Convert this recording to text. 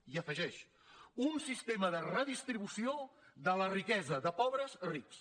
i afegeix un sistema de redistribució de la riquesa de pobres a rics